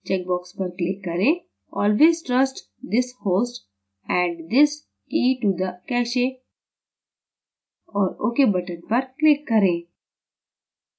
checkbox पर click करें: always trust this host add this key to the cache और ok button पर click करें